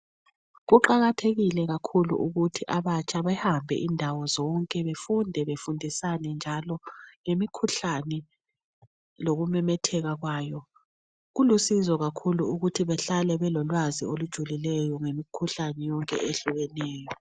Kuqakathekile kakhulu ukuthi abatsha behambe indawo zonke befunde befundisane njalo ngemikhuhlane lokumemetheka kwayo. Kulusizo kakhulu ukuthi behlale belolwazi olujulileyo ngemikhuhlane yonke ehlukeneyo.